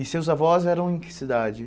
E seus avós eram em que cidade?